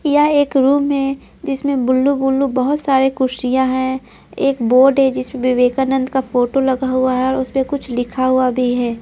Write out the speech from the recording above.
यह एक जिसमें बुल्लू बुल्लू बहुत सारे कुर्शियां हैं एक बोर्ड है जिसमें विवेकानंद का फोटो लगा हुआ हैऔर उसमें कुछ लिखा हुआ भी है।